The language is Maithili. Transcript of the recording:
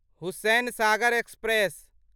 हुसैनसागर एक्सप्रेस